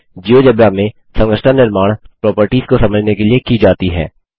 GeoGebra में संरचना निर्माण प्रोपर्टिज को समझने के लिए की जाती है